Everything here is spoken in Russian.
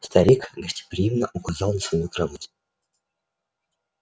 старик гостеприимно указал на свою кровать